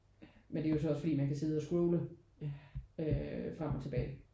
Men det er jo så også fordi man kan scrolle øh frem og tilbage